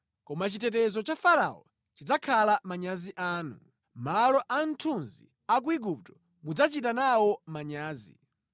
Koma chitetezo cha Farao chidzakhala manyazi anu, malo a mthunzi a ku Igupto mudzachita nawo manyazi.